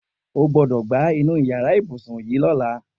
O gbọ́dọ̀ gbá inú yàrá ibùsùn yìí lọ́la!